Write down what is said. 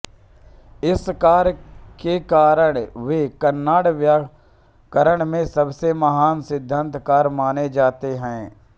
इस कार्य के कारण वे कन्नड व्याकरण के सबसे महान सिद्धान्तकार माने जाते हैं